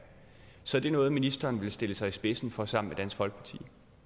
så er det noget ministeren vil stille sig i spidsen for sammen dansk folkeparti